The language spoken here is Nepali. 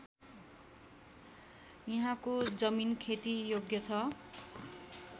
यहाँको जमिन खेतीयोग्य छ